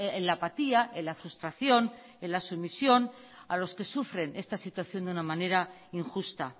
en la apatía en la frustración en la sumisión a los que sufren esta situación de una manera injusta